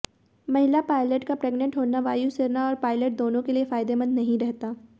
महिला पायलट का प्रेगनंट होना वायुसेना और पायलट दोनों के लिए फायदेमंद नहीं रहता